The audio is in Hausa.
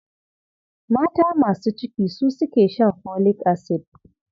Mata masu ciki su suke shan folic acid.